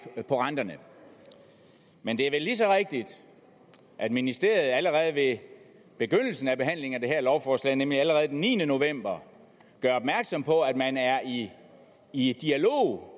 på renterne men det er vel lige så rigtigt at ministeriet allerede ved begyndelsen af behandlingen af det her lovforslag nemlig allerede den niende november gjorde opmærksom på at man er i i dialog